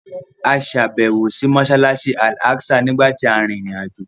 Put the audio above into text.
A ṣàbẹ̀wò sí Mọ́ṣáláṣí Al Aqsa nígbà tí a rin ìrìn-àjò